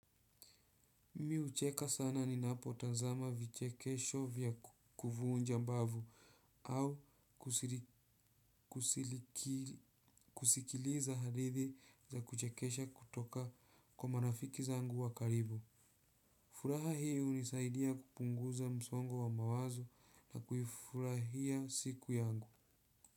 Mi hucheka sana ninapotazama vichekesho vya kuvuunja mbavu au kusikiliza hadithi za kuchekesha kutoka kwa marafiki zangu wa karibu. Furaha hii hunisaidia kupunguza msongo wa mawazo na kuifurahia siku yangu.